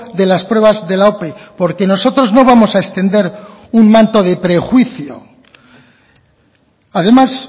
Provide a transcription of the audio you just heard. de las pruebas de la ope porque nosotros no vamos a extender un manto de prejuicio además